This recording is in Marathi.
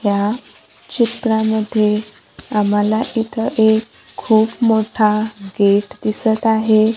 ह्या चित्रामध्ये आम्हाला इथं एक खूप मोठा गेट दिसत आहे.